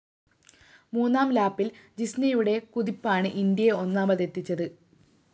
മൂന്നാം ലാപ്പില്‍ ജിസ്‌നയുടെ കുതിപ്പാണ് ഇന്ത്യയെ ഒന്നാമതെത്തിച്ചത്